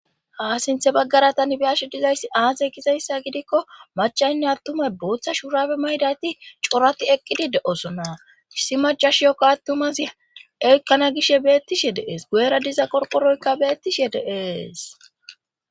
ha sinthe baggara tani biyashe dizayssi aasay kizayssa gidikko machaynne attumas booththa shurabe maydati corati eqqidi de7osona issi macashiyokka attumasi ekkana gishe beettishe deees gu7era diza korqoroykka beettishe deees